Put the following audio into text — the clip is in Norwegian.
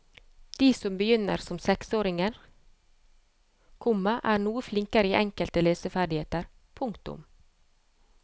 De som begynner som seksåringer, komma er noe flinkere i enkelte leseferdigheter. punktum